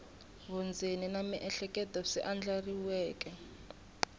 vundzeni na miehleketo swi andlariweke